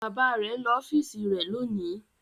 Bàbá rẹ̀ ń lọ ọ́fíísì rẹ̀ lónìí.